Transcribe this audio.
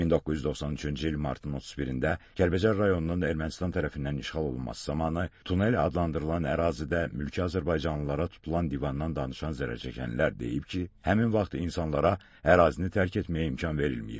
1993-cü il martın 31-də Kəlbəcər rayonunun Ermənistan tərəfindən işğal olunması zamanı Tunel adlandırılan ərazidə mülki azərbaycanlılara tutulan divandan danışan zərərçəkənlər deyib ki, həmin vaxt insanlara ərazini tərk etməyə imkan verilməyib.